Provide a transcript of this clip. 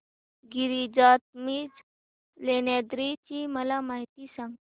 गिरिजात्मज लेण्याद्री ची मला माहिती सांग